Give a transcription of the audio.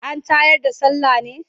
An tayar da sallah ne?